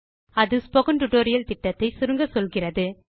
அது spoken tutorial திட்டத்தை சுருங்கச்சொல்கிறது